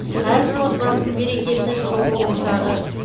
әрбір отбасының берекесі жылуы ошағы